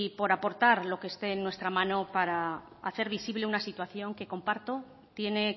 por aportar lo que esté en nuestra mano para hacer visible una situación que comparto tiene